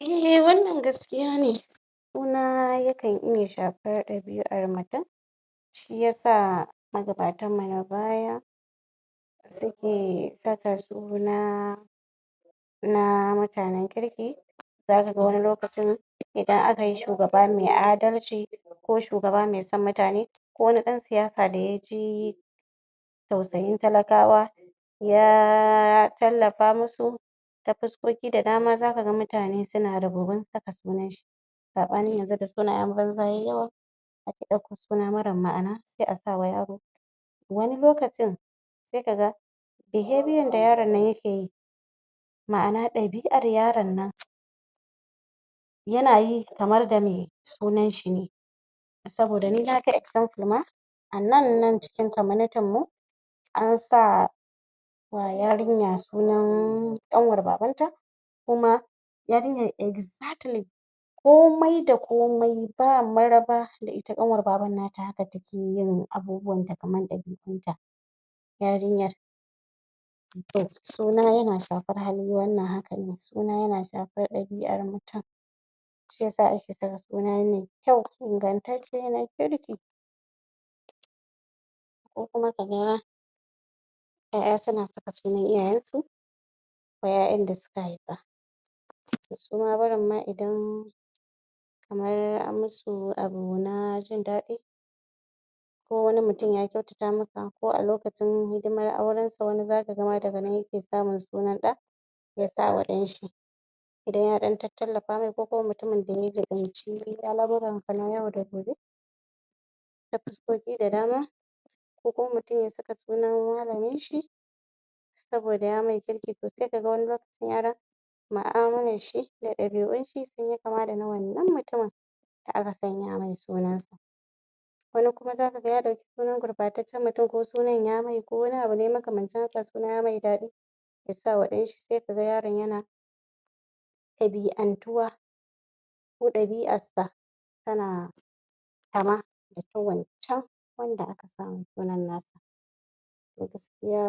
Eh wannan gaskiya ne suna yana iya shafar ɗabi'ar mutum shiyasa magabatan mu na baya suke saka suna na mutanen kirki zaka ga wani lokacin idan aka yi shugaba mai adalci ko shugaba mai son mutane ko wani ɗan siyasa da ya ji tausayin talakawa ya tallafa musu ta fuskoki da dama zaka mutane na ribibin saka sunan shi saɓanin yanzu da sunayen banza suka yi yawa akw suna marar ma'ana sai a sa wa yaro wani lokacin sai ka ga behavior da yaron nan yake yi ma'ana ɗabi'ar yaron nan yana yi kamar da mai sunan shi ne saboda ni naga example (misali) ma a nan nan cikin community (al'umman) mu an sa wan yarinya sunan ƙanwar babanta kuma yarinyan exactly komai da komai ba maraba da ita ƙanwar baban nata haka take yin abubuwan ta kaman ɗabi'un ta yarinyar suna yana shafar hali wannan hakan ne suna yan shafar ɗabi'ar mutum shiyasa ake saka suna mai kyau ingantacce na kirki ko kuma kaga ma ƴaƴa suna saka sunan iyayen su wa ƴaƴan da suka haifa su ma barin ma idan kamar an musu abu na jindaɗi ko wani mutum ya kyautata maka ko a lokacin hidimar aurensa lokacin ma yake samun sunan ɗa ya sa wa ɗan shi idan ta ɗan tattallafa mai ko kuma mutumin da ya jiɓanci al'amuran sa na yau da gobe ta fuskoki da dama ko kuma mutum ya saka sunan malamin shi saboda ya mai kirki sosai to sai ka ga wani lokacin yaron mu'amalan shi da ɗabi'un shi sun yi kama da na wannan malamin da aka sanya mai sunan sa wani kuma zaka ga ya ɗauki sunan gurɓataccen mutum ko sunan ya mai ko wani abu ne makamancin haka sunan ya mai daɗi ya sa wa ɗan shi sai ka ga yaro yana ɗabi'antuwa ko ɗabi'arsa tana kama da ta wancan wanda aka sa ma sunan na sa to gaskiya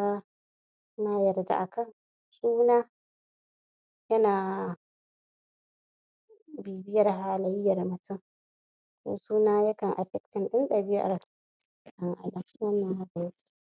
na yarda a kan suna yana bibiyar halayyan mutum ko suna yakan affecting ɗin ɗabi'ar ka? wannan haka yake